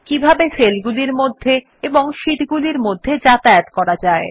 কিভাবে সেলগুলির মধ্যে এবং শীটগুলির মধ্যে যাতায়াত করা যায়